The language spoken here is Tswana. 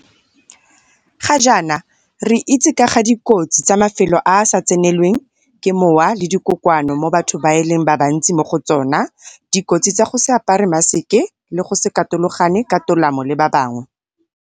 Ga jaana re itse ka ga dikotsi tsa mafelo a a sa tsenelweng ke mowa le dikokoano mo batho e leng ba bantsi mo go tsona, dikotsi tsa go se apare mmaseke le go se katologane ka tolamo le ba bangwe.